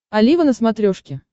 олива на смотрешке